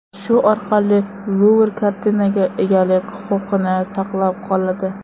Shu orqali Luvr kartinaga egalik huquqini saqlab qoladi.